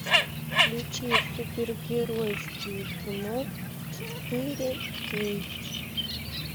включи супергеройские кино четыре кей